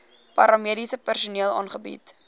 paramediese personeel aangebied